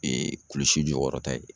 kulusi jɔyɔrɔ ta ye